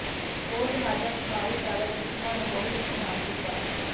ਹੋਰ ਜਹਾਜ਼ਾਂ ਨੇ ਭਾਰੀ ਚਾਲਕ ਚਿਕੁਮਾ ਨੂੰ ਬਹੁਤ ਨੁਕਸਾਨ ਕੀਤਾ